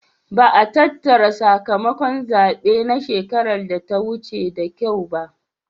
Ba'a tattara sakamakon zabe na shekara da ta wuce da kyau ba.